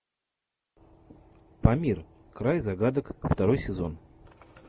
памир край загадок второй сезон